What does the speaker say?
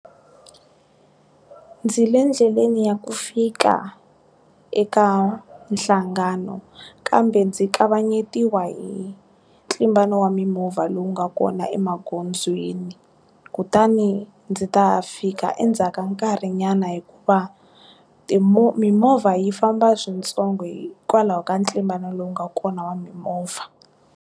Ndzi le ndleleni ya ku fika eka nhlangano kambe ndzi kavanyetiwa hi ntlimbano wa mimovha lowu nga kona emagondzweni kutani ndzi ta fika endzhaka nkarhi nyana hikuva timo mimovha yi famba swintsongo hikwalaho ka ntlimbano lowu nga kona wa mimovha.